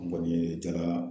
N kɔni ye jaga.